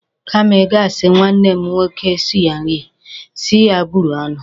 Kama ị ga-asi nwanne m nwoke sie nri, si ya buru ọnụ.